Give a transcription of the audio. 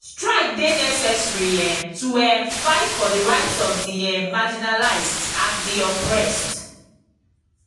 strike dey necessary um to um fight for di rights of di um marginalized and di oppressed.